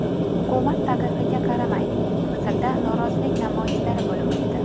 Hukumat taqiqiga qaramay, Misrda norozilik namoyishlari bo‘lib o‘tdi.